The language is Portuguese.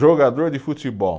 Jogador de futebol.